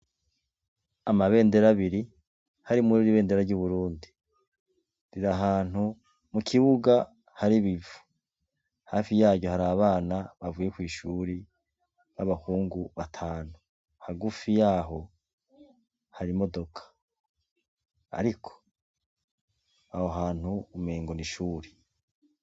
Amabendera abiri harimwo n'Ibendera ry'Uburundi riri ahantu mukibuga hari ibivu, hafi yaryo hari abana bavuye kw'ishure babahungu batanu, hagufi yaho hari imodoka, ariko aho hantu umenga ni ishure.